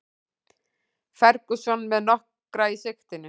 Ferguson með nokkra í sigtinu